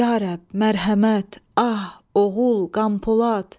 Ya Rəbb, mərhəmət, ah, oğul, Qəmpolad!